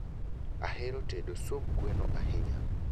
Ahero tedo sub gweno ahinya